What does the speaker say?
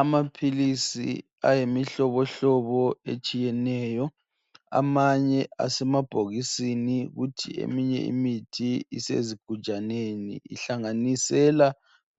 Amaphilisi ayimihlobohlobo etshiyeneyo. Amanye asemabhokisini, kuthi eminye imithi isezuigujaneni. Ihlanganisela